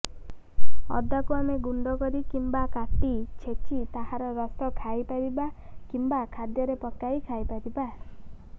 ଅଦାକୁ ଆମେ ଗୁଣ୍ଡ କରି କିମ୍ବା କାଟି ଛେଚି ତାହାର ରସ ଖାଇପାରିବା କିମ୍ବା ଖାଦ୍ୟରେ ପକାଇ ଖାଇପାରିବା